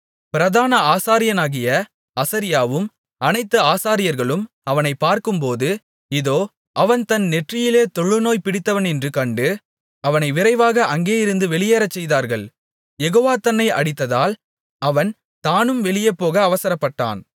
பிரதான ஆசாரியனாகிய அசரியாவும் அனைத்து ஆசாரியர்களும் அவனைப் பார்க்கும்போது இதோ அவன் தன் நெற்றியிலே தொழுநோய் பிடித்தவனென்று கண்டு அவனை விரைவாக அங்கேயிருந்து வெளியேறச் செய்தார்கள் யெகோவா தன்னை அடித்ததால் அவன் தானும் வெளியே போக அவசரப்பட்டான்